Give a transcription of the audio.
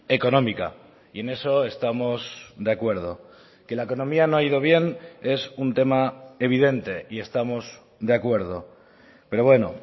económica y en eso estamos de acuerdo que la economía no ha ido bien es un tema evidente y estamos de acuerdo pero bueno